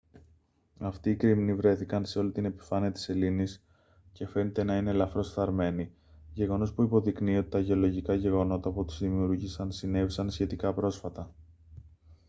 αυτοί οι κρημνοί βρέθηκαν σε όλη την επιφάνεια της σελήνης και φαίνεται να είναι ελαφρώς φθαρμένοι γεγονός που υποδεικνύει ότι τα γεωλογικά γεγονότα που τους δημιούργησαν συνέβησαν σχετικά πρόσφατα